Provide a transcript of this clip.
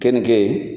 Kɛnikɛ